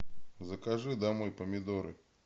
закажи домой помидоры